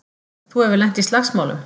Þú hefur lent í slagsmálum!